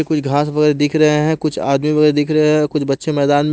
कोई घास वगैर दिख रहे हैं कुछ आदमी वैरा दिख रहे हैं कुछ बच्चे मैदान --